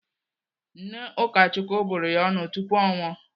Nne Ụkachukwu bụrụ ya ọnụ tupu ọ nwụọ.